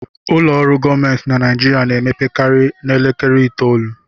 Ụlọ ọrụ gọọmentị na Naijiria na-emepekarị n'elekere itoolu